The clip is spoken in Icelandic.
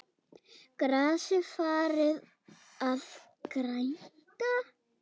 Grasið farið að grænka?